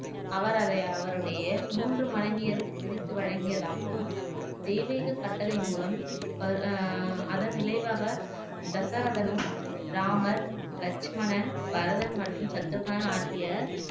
அவர் அதை அவருடைய மூன்று மனைவியர்க்கு பிரித்து வழங்கியதாகவும் தெய்வீக கட்டளையின் மூலம் ஆஹ் அதன் விளைவாக தசரதனும் ராமர் லட்சுமணன் வளவன் மற்றும் சத்ருகான் ஆகியனர்